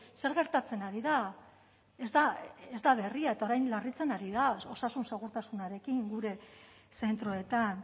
zer gertatzen ari da ez da ez da berria eta orain larritzen ari da osasun segurtasunarekin gure zentroetan